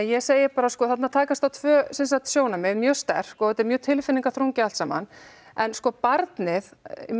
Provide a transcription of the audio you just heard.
ég segi að þarna takast á tvö sjónarmið mjög sterk og þetta er mjög tilfinningaþrungið allt saman en barnið